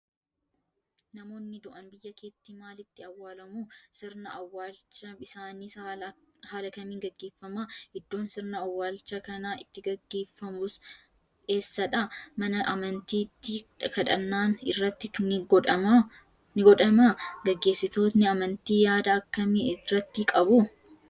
Namoonni du'an biyya keetti maalitti owwaalamu? Sirna awwaalcha isaaniis haala kamiin gaggeeffama? Iddoon sirna owwaalcha kanaa itti gaggeeffamus eessa dha? Mana amantiitti kadhannaan irratti ni godhamaa? Gaggeessitoonni amantii yaada akkamii irratti qabu?